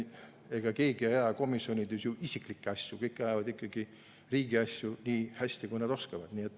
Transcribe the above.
Ega keegi komisjonides ei aja ju isiklikke asju, kõik ajavad ikkagi riigi asju, nii hästi, kui nad oskavad.